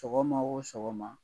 Sɔgɔma o sɔgɔma